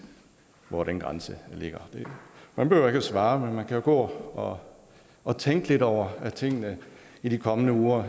hvor den grænse ligger man behøver ikke at svare men man kan jo gå og og tænke lidt over tingene i de kommende uger